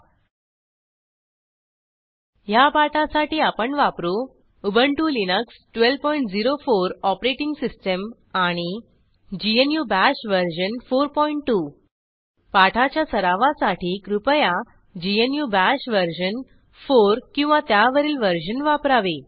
httpwwwspoken tutorialओआरजी ह्या पाठासाठी आपण वापरू उबंटु लिनक्स 1204 ओएस आणि ग्नू बाश वर्जन 42 पाठाच्या सरावासाठी कृपया ग्नू बाश वर्जन 4 किंवा त्यावरील वर्जन वापरावे